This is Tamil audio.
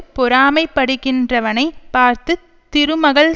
பொறாமை படுகின்றவனைப் பார்த்து திருமகள்